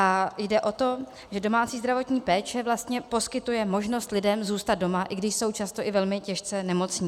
A jde o to, že domácí zdravotní péče vlastně poskytuje možnost lidem zůstat doma, i když jsou často i velmi těžce nemocní.